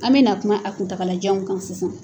An bɛna kuma a kuntagalajan kan sisan